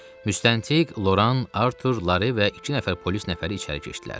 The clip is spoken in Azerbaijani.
Müstəntiq, Loran, Artur, Lare və iki nəfər polis nəfəri içəri keçdilər.